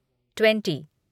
twenty